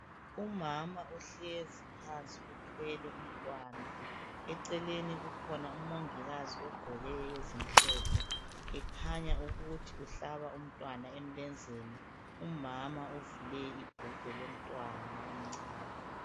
Umama ohlezi phansi uthwele umntwana eceleni kukhona umongikazi ogqoke ezimhlophe ekhanya ukuthi uhlaba umntwana emlenzeni umama uvule ibhulugwe lomntwana omncane.